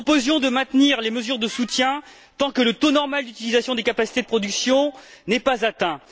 Nous proposions de maintenir les mesures de soutien tant que le taux normal d'utilisation des capacités de production n'était pas atteint.